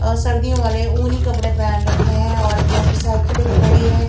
अ सर्दियों वाले ऊनी कपड़े पेहन रखें हैं और मोटरसाइकिलें खड़ी हैं।